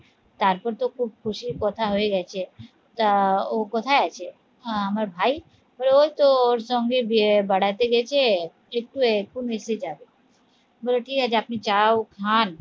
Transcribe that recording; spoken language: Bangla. তারপর তো খুব খুশির কথা হয়ে গেছে তা ও কোথায় আছে? আহ আমার ভাই? বলে ওই তো ওর সঙ্গে বে বাড়াতে গেছে একটু এখুন এসে যাবে বলে ঠিক আছে আপনি চাও খান